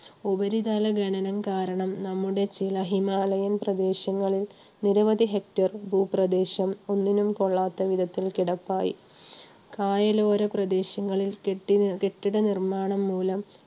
ഉപരിതല ഖനനം കാരണം നമ്മുടെ ചില ഹിമാലയൻ പ്രദേശങ്ങളിൽ നിരവധി Hector ഭൂപ്രദേശം ഒന്നിനും കൊള്ളാത്ത വിധത്തിൽ കിടപ്പായി. കായലോര പ്രദേശങ്ങളിൽ കെട്ടി~കെട്ടിട നിർമ്മാണം മൂലം